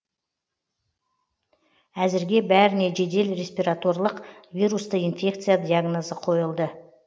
әзірге бәріне жедел респираторлық вирусты инфекция диагнозы қойылды